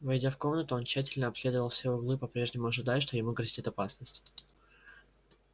войдя в комнаты он тщательно обследовал все углы по прежнему ожидая что ему грозит опасность